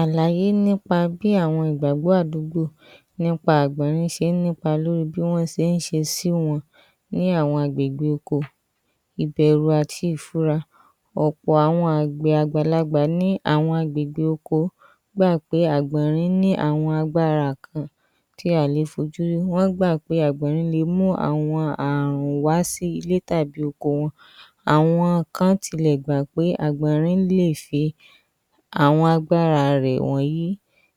Àlàyé nípa bí àwọn ìgbàgbọ́ àdúgbò nípa bí àgbọ̀nrín ṣe ń nípa lórí bí wọ́n ṣe ń ṣe sí wọn ní àwọn àgbègbè oko, ìbẹ̀rù àti ìfura, ọ̀pọ̀ àwọn àgbàlagbà ní agbègbè oko gbà pé àwọn agbára kan wà tí a ò lè fojú rí wọ́n gbà pé agbọ̀nrín le mú Ààrùn wá sí ilé tàbí oko wọn, àwọn kan tilẹ̀ gbà pé agbọ̀nrín lè ṣe àwọn agbára rẹ wọ̀nyí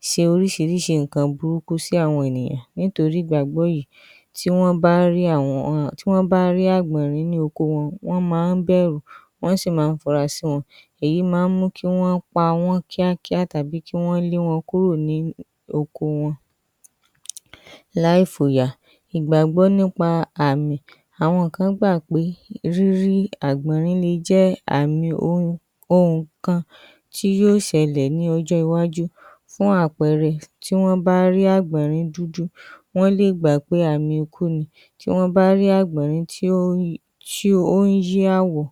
ṣe orísìírísìí nǹkan burúkú sí àwọn ènìyàn nítorí ìgbàgbọ́ yìí tí wọ́n bá rí àgbọ̀nrín nínú oko wọn, wọ́n máa ń bẹ̀rù, wọ́n sì máa ń fura sí wọn, èyí máa ń mú kí Wọ́n pa wọ́n kíákíá tàbí kí Wọ́n lé wọn kúrò ní oko wọn láì fòyà ‎Igbagbọ́ nípa àmì, àwọn kan gbà pé, àgbọ̀nrín le jẹ́ àmì ohùn kan tí yóò ṣẹlẹ̀ ní ọjọ́ iwájú, fún àpẹẹrẹ tí wọ́n bá rí àgbọ̀nrín dúdú wọ́n lè gbà pé àmì ikú ni, tí wọn bá rí àgbọ̀nrín tí ó ń yí a ‎àwọ̀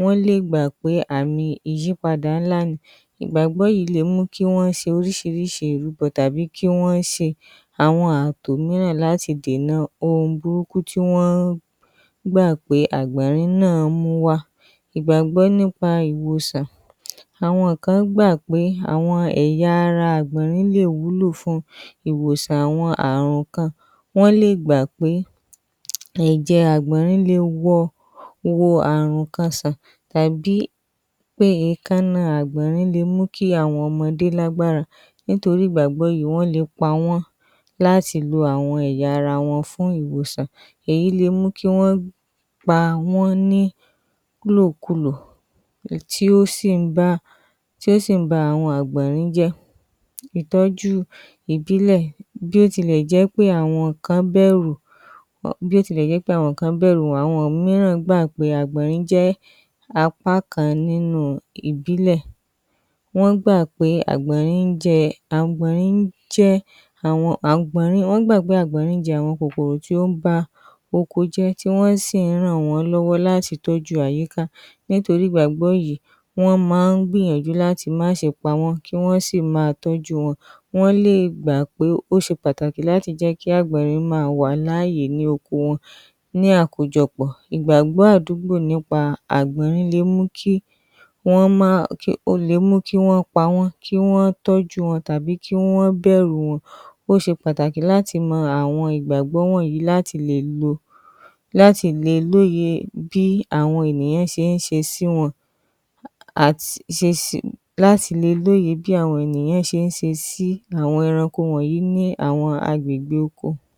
wọ́n lè gbà pé àmì ìyípadà ńlá ni, ìgbàgbọ́ yìí le mú kí Wọ́n ṣe orísìírísìí ìrúbọ tàbí àwọn àtò mìíràn láti dènà ohun burúkú tí wọ́n gbà pé àgbọ̀nrín náà mú wá ‎ ìgbàgbọ́ nípa ìwòsàn: àwọn kan gbà pé ẹ̀yà ara àgbọ̀nrín lè wúlò fún ìwòsàn àwọn Ààrùn kan, wọ́n lè gbà pé awọ àgbọ̀nrín le wo Ààrùn kan sàn, tàbí èékánná àgbọ̀nrín Le mú kí àwọn ọmọdé lágbára, nítorí ìgbàgbọ́ yìí, wọ́n le pa wọ́m láti lọ ẹ̀yà ara wọn fún ìwòsàn, èyí le mú kí Wọ́n pa wọ́n ní ìlòkulò tí ó sì ń ba àwọn àgbọ̀nrín jẹ́, ìtọ́jú ìbílẹ̀:bí ó ti lẹ̀ jẹ́ pé àwọn mìíràn gbà pé àgbọ̀nrín jẹ́ apá kan nínú ìbílẹ̀ wọ́n gbà pé àgbọ̀nrín jẹ àwọn kòkòrò tí ó ń bá oko jẹ́ tí wọ́n sì ń ràn wọ́n lọ́wọ́ láti tọ́jú àyíká nítorí ìgbàgbọ́ yìí, wọ́n máa ń gbìyànjú láti má ṣe pa wọ́n, kí Wọ́n sì máa tọ́jú wọn, wọ́n lè gbà pé ó ṣe pàtàkì láti máa jẹ́ kí àgbọ̀nrín máa wà ní oko wọn, ní àkójọpọ̀, ìgbàgbọ́ àdúgbò nípa àgbọ̀nrín le mú kí Wọ́n pa wọ́n kí Wọ́n tọ́jú wọn tàbí kí Wọ́n bẹ̀rù wọn, ó ṣe pàtàkì láti mọ àwọn ìgbàgbọ́ wọ̀nyí láti le lóye bí àwọn ènìyàn ṣe ń ṣe sí àwọn ẹranko wọ̀nyí ní agbègbè oko. ‎